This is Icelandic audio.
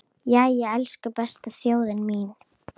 Jæja, elsku besta þjóðin mín!